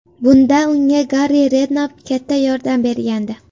Bunda unga Harri Rednapp katta yordam bergandi.